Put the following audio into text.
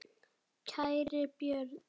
Kæri Björn.